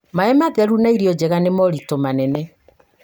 mai matheru na irio njega nĩ moritũ manene